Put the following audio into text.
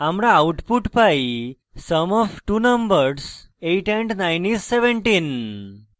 আমরা output পাই sum of two numbers 8 and 9 is 17